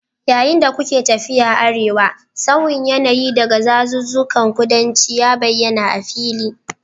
Yayin da kuke tafiya arewa, sauyin yanayi daga dazuzzukan kudanci ya bayyana a fili